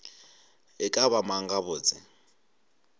e ka ba mang gabotse